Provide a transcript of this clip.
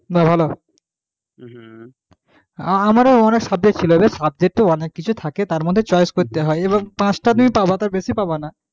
বাহ ভালো আমারও অনেক subject ছিল রে subject তো অনেক কিছু থাকে তার মধ্যে choice করতে হয় এবং পাঁচটা তুমি পাবা তার বেশি পাবা না,